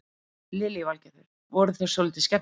Lillý Valgerður: Voru þeir svolítið skemmtilegir?